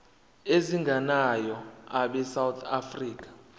ezingenayo abesouth african